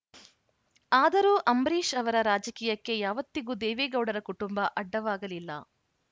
ಆದರೂ ಅಂಬರೀಷ್‌ ಅವರ ರಾಜಕೀಯಕ್ಕೆ ಯಾವತ್ತಿಗೂ ದೇವೇಗೌಡರ ಕುಟುಂಬ ಅಡ್ಡವಾಗಲಿಲ್ಲ